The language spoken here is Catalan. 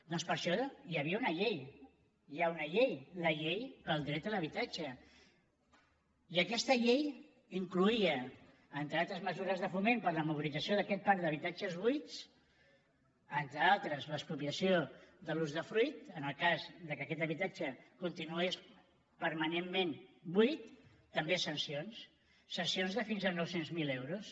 doncs per això hi havia una llei hi ha una llei la llei del dret a l’habitatge i aquesta llei incloïa entre altres mesures de foment per a la mobilització d’aquest parc d’habitatges buits entre altres l’expropiació de l’usdefruit en el cas que aquest habitatge continués permanentment buit també sancions sancions de fins a nou cents miler euros